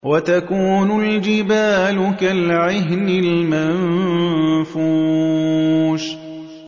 وَتَكُونُ الْجِبَالُ كَالْعِهْنِ الْمَنفُوشِ